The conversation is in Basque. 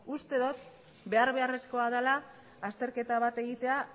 uste dot behar beharrezkoa dela azterketa bat egitea